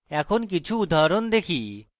এখন কিছু উদাহরণ দেখি